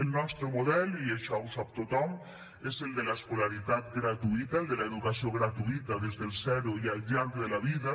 el nostre model i això ho sap tothom és el de l’escolaritat gratuïta el de l’educació gratuïta des dels zero i al llarg de la vida